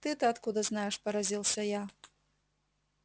ты-то откуда знаешь поразился я